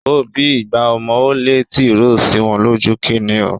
Ó bí igba ọmọ, ó lé tìròó sí wọn lójú. Kíni o?